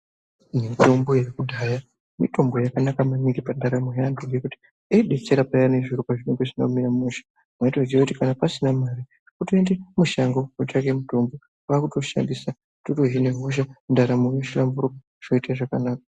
Mitombo yekudhaya mitombo yakanaka maningi pandaramo yeantu ngekuti yaidetsera payana zviro zvisina kumira mushe. Mwaitoziya kuti kana pasina mare, kutoenda mushango kutsvake mutombo kwakutoshandisa totohina hosha. Ndaramo yohlamburuka, zvoita zvakanaka.